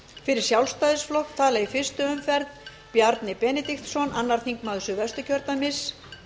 fyrir sjálfstæðisflokk tala í fyrstu umferð bjarni benediktsson annar þingmaður suðvesturkjördæmis